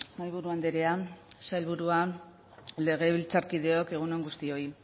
mahaiburu andrea sailburua legebiltzarkideok egun on guztioi